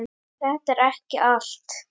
Þetta er ekki allt